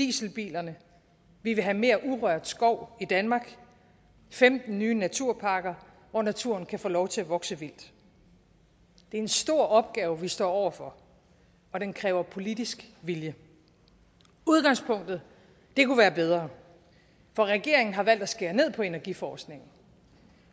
dieselbilerne vi vil have mere urørt skov i danmark og femten nye naturparker hvor naturen kan få lov til at vokse vildt det er en stor opgave vi står over for og den kræver politisk vilje udgangspunktet kunne være bedre for regeringen har valgt at skære ned på energiforskningen